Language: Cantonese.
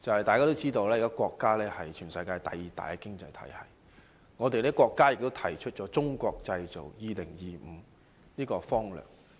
大家也知道，我們國家現時是全球第二大經濟體系，我們國家亦提出了"中國製造 2025" 的方略。